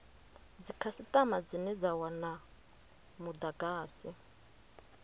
dzikhasitama dzine dza wana mudagasi